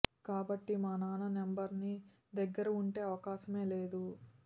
కాబట్టి మా నాన్న నెంబర్ నీ దగ్గర ఉండే అవకాశమే లేదు